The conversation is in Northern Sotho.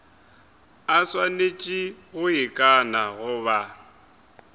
a swanetše go ikana goba